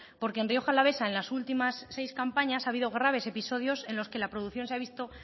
porque en rioja alavesa en las últimas seis campañas ha habido graves episodios en la que la producción se ha visto